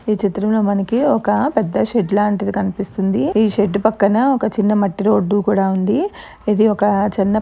ఈ చిత్రము లో మనకి ఒక పెద్ద షెడ్ లాంటిది కనిపిస్తుంది.ఈ షెడ్ పక్కన మట్టి రోడ్ కూడా వుంది.ఇది ఒక--